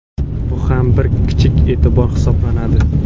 Bu ham bir kichik e’tibor hisoblanadi.